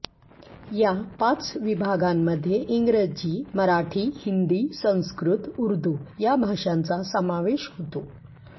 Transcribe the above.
या पाच विभागांमध्ये इंग्रजी मराठी हिंदी संस्कृत उर्दु या भाषांचा समावेश होतो